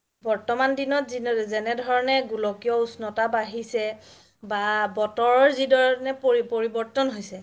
বৰ্তমান দিনত যেনে ধৰণে গোলকীয় উষ্ণতা বাঢ়িছে বা বতৰ যি ধৰণে পৰিৱৰ্তন হৈছে